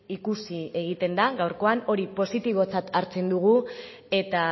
ikusi egiten da gaurkoan hori positibotzat hartzen dugu eta